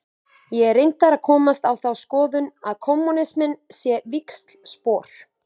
Ég er reyndar að komast á þá skoðun að kommúnisminn sé víxlspor.